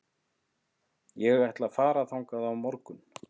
Ég ætla að fara þangað á morgun.